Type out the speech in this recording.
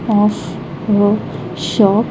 of her shop.